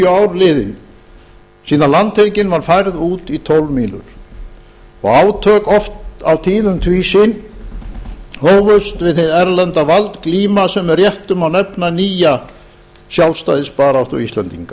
ár liðin síðan landhelgin var færð út í tólf mílur og átök oft á tíðum tvísýn hófust við hið erlenda hervald glíma sem með réttu má nefna nýja sjálfstæðisbaráttu íslendinga